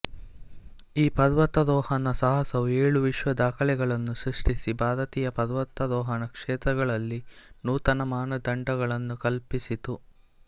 ಈ ಪರ್ವತಾರೋಹಣ ಸಾಹಸವು ಏಳು ವಿಶ್ವ ದಾಖಲೆಗಳನ್ನು ಸೃಷ್ಟಿಸಿ ಭಾರತೀಯ ಪರ್ವತಾರೋಹಣ ಕ್ಷೇತ್ರಗಳಲ್ಲಿ ನೂತನ ಮಾನದಂಡಗಳನ್ನು ಕಲ್ಪಿಸಿತು